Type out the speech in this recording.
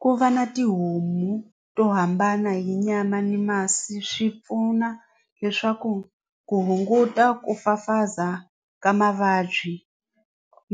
Ku va na tihomu to hambana hi nyama ni masi swi pfuna leswaku ku hunguta ku fafaza ka mavabyi